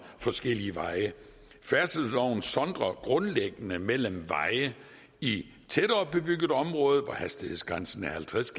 forskellige veje færdselsloven sondrer grundlæggende mellem veje i tættere bebygget område hvor hastighedsgrænsen er halvtreds